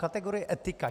Kategorie etika.